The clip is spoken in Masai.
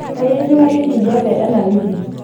kai etiu hali enkijape ena wiki